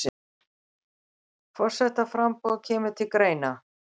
Forsetaframboð kemur til greina